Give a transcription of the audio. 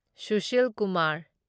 Sushil Kumar